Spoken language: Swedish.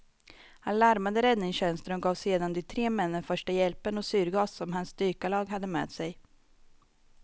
Han larmade räddningstjänsten och gav sedan de tre männen första hjälpen och syrgas som hans dykarlag hade med sig.